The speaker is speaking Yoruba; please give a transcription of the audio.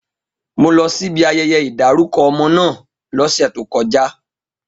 Mo lọ síbi ayẹyẹ ìdárúkọ ọmọ náà lọ́sẹ̀ tó kọjá